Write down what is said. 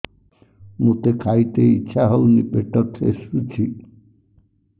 ମୋତେ ଖାଇତେ ଇଚ୍ଛା ହଉନି ପେଟ ଠେସୁଛି